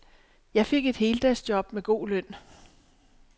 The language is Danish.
Jeg fik et heldagsjob med god løn.